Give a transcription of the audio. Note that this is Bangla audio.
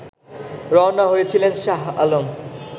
রওনা হয়েছিলেন শাহ আলম